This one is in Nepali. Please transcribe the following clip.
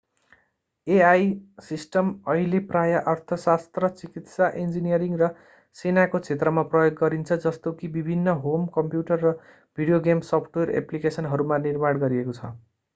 एआई सिस्टम अहिले प्राय अर्थशास्त्र चिकित्सा इन्जिनियरिङ र सेनाको क्षेत्रमा प्रयोग गरिन्छ जस्तो कि विभिन्न होम कम्प्युटर र भिडियो गेम सफ्टवेयर एप्लिकेसनहरूमा निर्माण गरिएको छ